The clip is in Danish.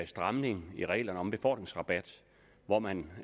stramning i reglerne om befordringsrabat hvor man